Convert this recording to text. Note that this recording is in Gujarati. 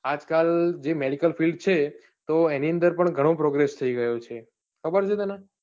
આજકાલ જે medical field છે તો એની અંદર પણ ઘણો progress થઈ ગયો છે ખબર છે તને?